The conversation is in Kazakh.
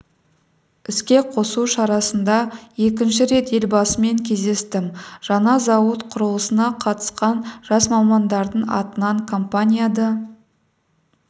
іске қосу шарасында екінші рет елбасымен кездестім жаңа зауыт құрылысына қатысқан жас мамандардың атынан компанияда